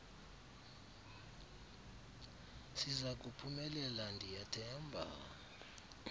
sizaku phumelela ndiyathemba